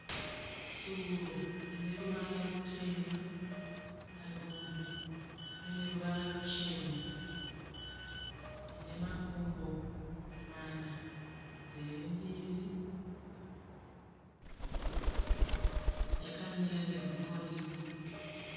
Tsuro ine ruvara rutema. Padumbu paine ruvara ruchena. Ine makumbo mana nzeve mbiri. Yakamira negumbo rimwe.